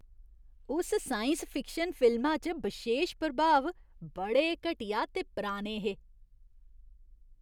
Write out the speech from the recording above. उस science fiction फिल्मा च बशेश प्रभाव बड़े घटिया ते पराने हे।